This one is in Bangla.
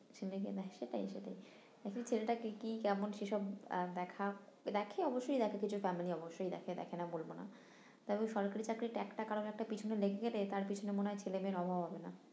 ছেলেকে দেখে এখন ছেলেটাকে কি কেমন সেসব আহ দেখা দেখে অবশ্যই দেখে কিছু family অবশ্যই দেখে দেখে না বলবো না তবে সরকারি চাকরি tag টা কারোর একটা পিছনে লেগ গেলে তার পিছনে মনে হয় ছেলে মেয়ের অভাব হবে না